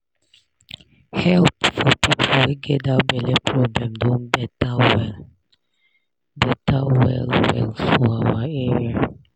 help for people wey get that belle problem don better well better well well for our area.